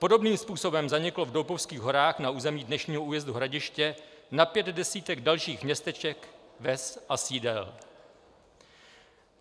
Podobným způsobem zaniklo v Doupovských horách na území dnešního újezdu Hradiště na pět desítek dalších městeček, vsí a sídel.